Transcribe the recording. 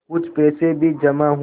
कुछ पैसे भी जमा हुए